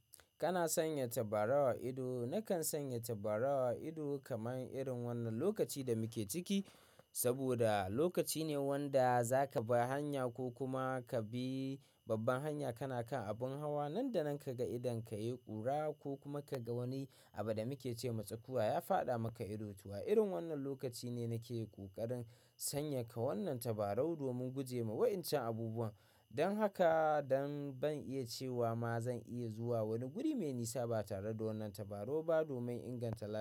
Kana sanya tabarau a ido. Nakan sanya tabarau a ido kamar irin wannan lokaci da muke ciki, saboda lokaci ne wanda zaka bar hanya ko kuma ka bi babban hanya. Kana kan abin hawa nan da nan ka ga idon ka yai ƙura ko kuma ka ga wani abu da muke ce ma tsakuwa ya fyaɗa maka ido. To, irin wannan lokaci ne nake yi ƙoƙarin sanya ka wannan tabarau domin guje wa wayancan abubuwan. Don haka, don ban iya cewa ma zan iya zuwa wani guri mai nisa ba tare da wannan tabarau ba domin inganta tafiya.